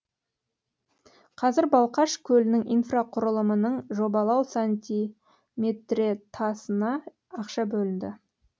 қазір балқаш көлінің инфрақұрылымының жобалау сантиметретасына ақша бөлінді